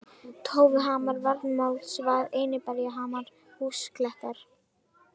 Tófuhamar, Varmadalsvað, Einiberjahamar, Húsaklettar